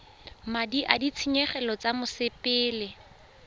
madi a ditshenyegelo tsa mosepele